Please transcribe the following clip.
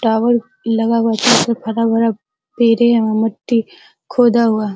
tower लगा हुआ मट्टी खोदा हुआ--